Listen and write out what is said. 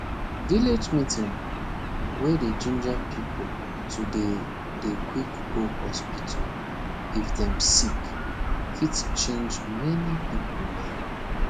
village meeting wey dey ginger pipo to dey dey quick go hospital if dem sick fit change many pipo mind